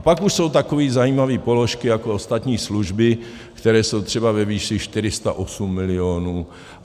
A pak už jsou takové zajímavé položky jako ostatní služby, které jsou třeba ve výši 408 milionů.